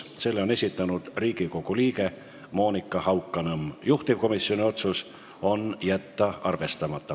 Selle on esitanud Riigikogu liige Monika Haukanõmm, juhtivkomisjoni otsus: jätta arvestamata.